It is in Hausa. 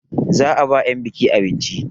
Za a ba 'yan buki abinci.